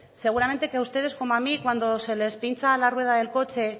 seguramente que a ustedes como a mí cuando se les pincha la rueda del coche